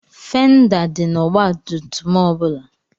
Fenda dị n'ọgbatumtum ọ bụla.